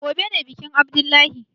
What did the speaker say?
Gobe ne bikin abdullahi?